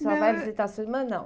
Só vai visitar sua irmã, não?